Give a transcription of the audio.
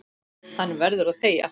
Hann verður að þegja.